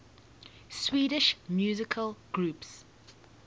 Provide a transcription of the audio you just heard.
swedish musical groups